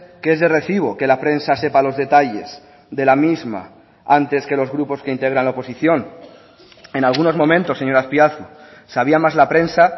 que es de recibo que la prensa sepa los detalles de la misma antes que los grupos que integran la oposición en algunos momentos señor azpiazu sabía más la prensa